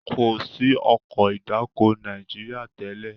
Ko sí Ọkọ̀ ìdáko Nàìjíríà tèlé.